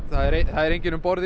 það er enginn um borð